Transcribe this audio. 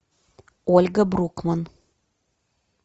ольга брукман